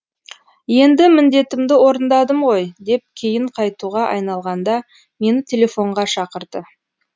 енді міндетімді орындадым ғой деп кейін қайтуға айналғанда мені телефонға шақырды